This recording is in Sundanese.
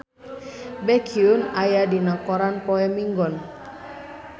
Baekhyun aya dina koran poe Minggon